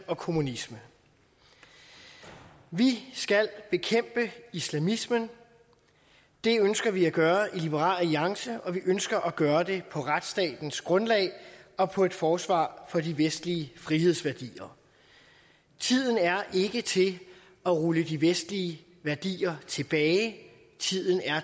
og kommunisme vi skal bekæmpe islamismen det ønsker vi at gøre i liberal alliance og vi ønsker at gøre det på retsstatens grundlag og på et forsvar for de vestlige frihedsværdier tiden er ikke til at rulle de vestlige værdier tilbage tiden er